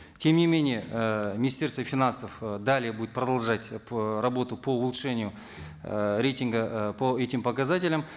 тем не менее э министерство финансов э далее будет продолжать работу по улучшению э рейтинга э по этим показателям